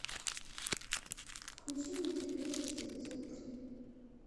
включи мультик вечность эпизод три